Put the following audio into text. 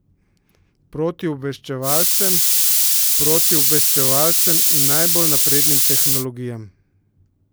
Proti obveščevalcem, protiobveščevalcem in najbolj naprednim tehnologijam?